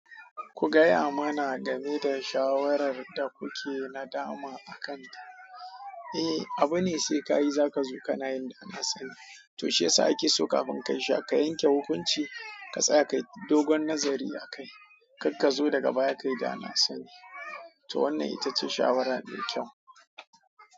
Ku gaya mana game da shawarar da kuke na dama akanta. Eh, abu ne sai ka yi za ka zo ka na yin da na sani. To shiyasa ake so kafin ka sha ka yanke hukunci ka tsaya ka yi dogon nazari akai. Kakka zo daga baya ka yi da na sani. To wannan ita ce shawara mai kyau.